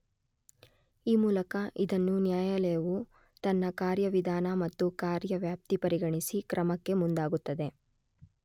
ಈ ಮೂಲಕ ಇದನ್ನು ನ್ಯಾಯಾಲಯವು ತನ್ನ ಕಾರ್ಯ ವಿಧಾನ ಮತ್ತು ಕಾರ್ಯ ವ್ಯಾಪ್ತಿ ಪರಿಗಣಿಸಿ ಕ್ರಮಕ್ಕೆ ಮುಂದಾಗುತ್ತದೆ.